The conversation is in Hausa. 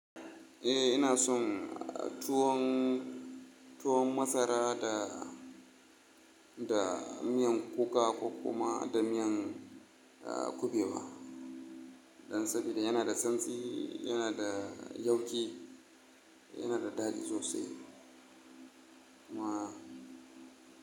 Eh ina son tuwon, tuwon masara da, da miyan kuka ko kuma da miyan kuɓewa. Don saboda yanada santsi, yanada yauƙi, yanada daɗi sosai kuma.